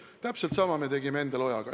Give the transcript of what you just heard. Täpselt sama tegime Endel Ojaga.